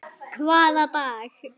Hvaða dag?